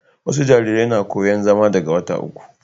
wasu jarirai na koyan zama daga wata uku